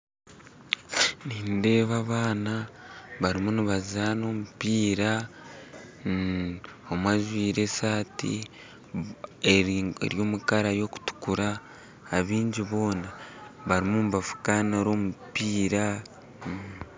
Nindeeba abaana barimu nibazaana omumpiira omwe ajwire esaati eri omu kara y'okutukura abaingi boona barimu nibafuukanira omumpiira